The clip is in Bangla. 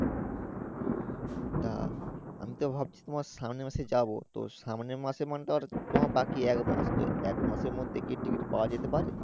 তা আমি তো ভাবছি তোমার সামনে মাসে যাবো তো সামনে মাসে মানে তো আর তোমার বাকি এক মাস তো একমাসের মধ্যে কি Ticket পাওয়া যেতে পারে।